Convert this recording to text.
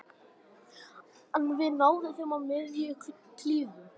Við náðum þeim í miðjum klíðum